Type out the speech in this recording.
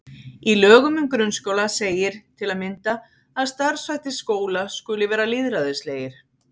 Í lögum um grunnskóla segir til að mynda að starfshættir skóla skuli vera lýðræðislegir.